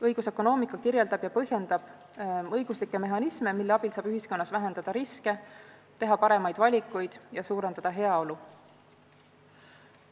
Õigusökonoomika kirjeldab ja põhjendab õiguslikke mehhanisme, mille abil saab ühiskonnas riske vähendada, teha paremaid valikuid ja suurendada heaolu.